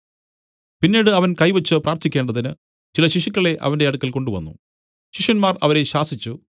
പിന്നീട് അവൻ കൈവച്ചു പ്രാർത്ഥിക്കേണ്ടതിന് ചിലർ ശിശുക്കളെ അവന്റെ അടുക്കൽ കൊണ്ടുവന്നു ശിഷ്യന്മാർ അവരെ ശാസിച്ചു